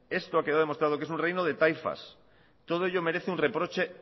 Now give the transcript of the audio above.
esto ha quedado demostrado que es un reino de taifas todo ello merece un reproche